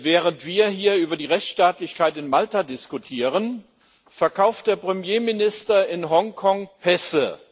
Während wir hier über die Rechtsstaatlichkeit in Malta diskutieren, verkauft der Premierminister in Hongkong Pässe.